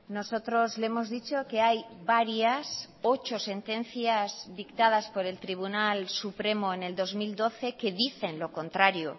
nosotros le hemos dicho que hay varias ocho sentencias dictadas por el tribunal supremo en el dos mil doce que dicen lo contrario